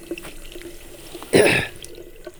Cun boorash shaciir caafimaad ahaan.